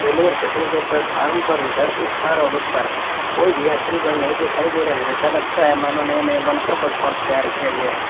Railway station के platform पर इधर इस पार और उस पर कोई भी यात्री गण नहीं दिखाई दे रहे हैं ऐसा लगता है मानो नए नए बनकर प्लेटफार्म तैयार किया गया है।